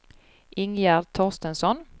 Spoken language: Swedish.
Ingegärd Torstensson